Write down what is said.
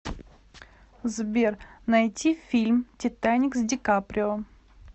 сбер найти фильм титаник с ди каприо